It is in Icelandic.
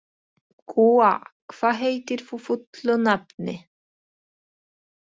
Gúa, hvað heitir þú fullu nafni?